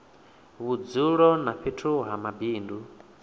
vhudzulo na fhethu ha mabindu